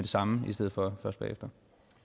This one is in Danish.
samme i stedet for bagefter